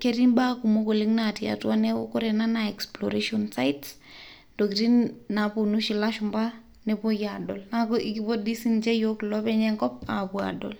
Ketii imasaa kumok oshi naapuo ilashumba oloopeny enkop adol.